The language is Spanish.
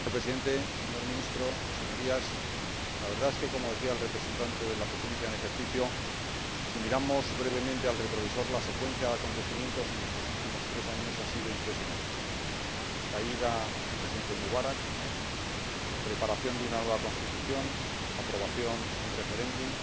Señor Presidente, señor Ministro, Señorías, la verdad es que, como decía el representante de la Presidencia en ejercicio del Consejo, si miramos brevemente al retrovisor, la secuencia de acontecimientos en estos últimos tres años ha sido impresionante caída del Presidente Mubarak, preparación de una nueva Constitución, aprobación en referéndum,